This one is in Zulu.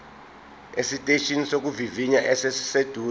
esiteshini sokuvivinya esiseduze